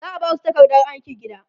za'a Basu takardar aikin gida